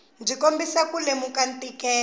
byi kombisa ku lemuka ntikelo